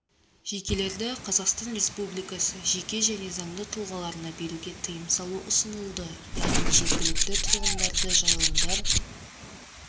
жекелерді қазақстан республикасы жеке және заңды тұлғаларына беруге тыйым салу ұсынылды яғни жергілікті тұрғындарды жайылымдар